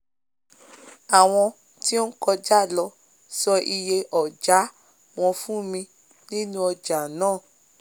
áwọn tí ó kojá lọ sọ iye ọ̀jà wọn fún mi nínú ọjà náà